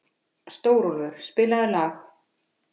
Stórólfur, spilaðu lag.